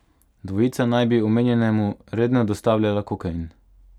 Dvojica naj bi omenjenemu redno dostavljala kokain.